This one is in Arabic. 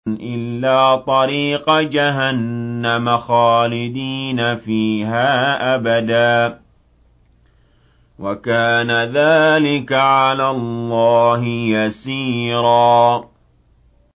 إِلَّا طَرِيقَ جَهَنَّمَ خَالِدِينَ فِيهَا أَبَدًا ۚ وَكَانَ ذَٰلِكَ عَلَى اللَّهِ يَسِيرًا